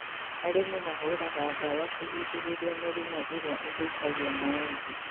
Arĩmi mahũraga ndawa kũgirĩrĩria mĩrimũ ĩrĩa ĩthũkagia maembe